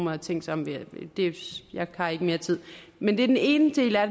har tænkt sig om jeg har ikke mere tid men det er den ene del af